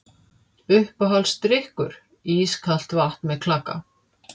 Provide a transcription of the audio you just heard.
Uppáhaldsdrykkur: ískalt vatn með klaka